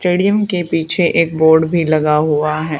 Stadium के पीछे एक बोर्ड भी लगा हुआ है।